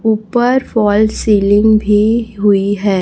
ऊपर fall ceiling भीं हुई है।